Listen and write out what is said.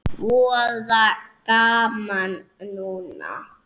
Voða gaman núna.